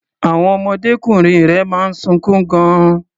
Àwon ọmọdékùnrin rẹ̀ máa ń sunkún gan-an.